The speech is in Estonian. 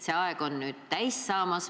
See aeg on nüüd täis saamas.